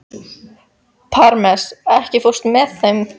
Parmes, ekki fórstu með þeim?